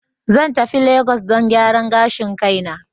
Zan tafi lagos don gyaran gashin kaina.